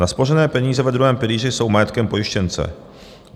Naspořené peníze ve druhém pilíři jsou majetkem pojištěnce.